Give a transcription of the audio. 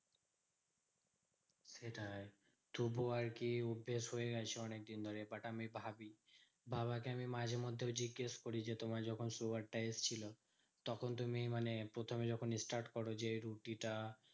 সেটাই তবু আরকি অভ্যেস হয়ে গেছে অনেকদিন ধরে but আমি ভাবি। বাবাকে আমি মাঝে মধ্যেও জিজ্ঞেস করি যে তোমার যখন sugar টা এসেছিলো, তখন তুমি মানে প্রথমে যখন start করো যে রুটিটা